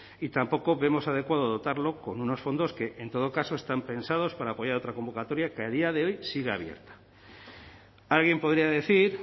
y tampoco vemos adecuado dotarlo con unos fondos que en todo caso están pensados para apoyar otra convocatoria que a día de hoy sigue abierta alguien podría decir